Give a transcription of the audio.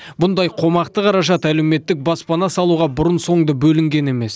бұндай қомақты қаражат әлеуметтік баспана салуға бұрын соңды бөлінген емес